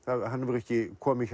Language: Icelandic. hefur ekki komið